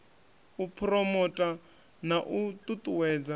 u phuromotha na u ṱuṱuwedza